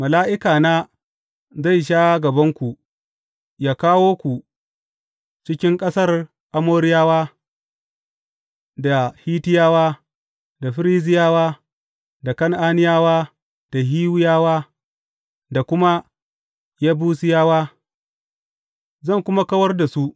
Mala’ikana zai sha gabanku, yă kawo ku cikin ƙasar Amoriyawa, da Hittiyawa, da Ferizziyawa, da Kan’aniyawa, da Hiwiyawa, da kuma Yebusiyawa, zan kuma kawar da su.